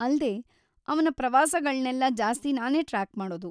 ಅಲ್ದೇ, ಅವ್ನ ಪ್ರವಾಸಗಳ್ನೆಲ್ಲ ಜಾಸ್ತಿ ನಾನೇ ಟ್ರ್ಯಾಕ್‌ ಮಾಡೋದು.